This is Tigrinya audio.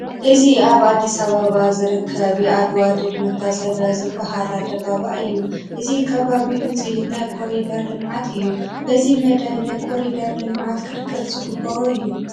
እዚ ኣብ ኣዲስ ኣባባ ዝርከብ የዓድዋ ድል መታሰቢያ ዝበሃል ኣደባባይ እዩ፡፡ እዚ ከባቢ ውፅኢት ናይ ኮሪደር ልምዓት እዩ፡፡ በዚ መዳይ ናይ ኮሪደር ልምዓት ክድገፍ ዝግብኦ እዩ፡፡